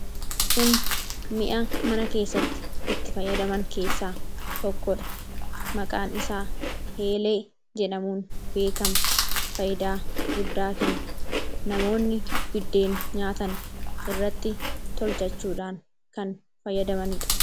Kun mi'a mana keessatti itti fayyadaman keessaa tokkodha. Maqaan isaa eelee jedhamuun beekama. Faayidaa guddaa kenna. Namoonni buddeena nyaatan irratti tolfachuudhaan kan fayyadamaniidha.